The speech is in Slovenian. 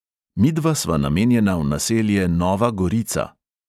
Midva sva namenjena v naselje nova gorica.